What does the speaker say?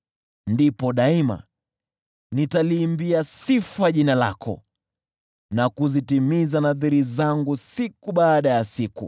Ndipo daima nitaliimbia sifa jina lako na kuzitimiza nadhiri zangu siku baada ya siku.